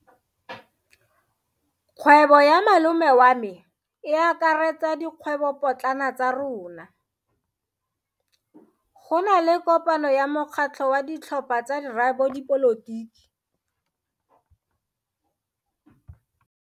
Kgwebo ya malome wa me e akaretsa dikgwebopotlana tsa rona. Go na le kopano ya mokgatlho wa ditlhopha tsa boradipolotiki.